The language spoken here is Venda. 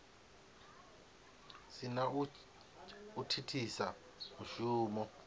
si na u thithisa mushumo